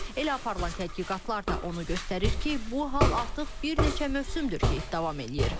Elə aparılan tədqiqatlar da onu göstərir ki, bu hal artıq bir neçə mövsümdür ki, davam edir.